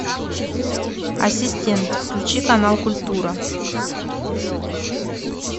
ассистент включи канал культура